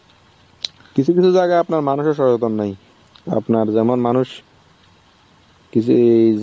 কিছু কিছু জায়গায় আপনার মানুষের সচেতন নাই. আপনার যেমন মানুষ কিছু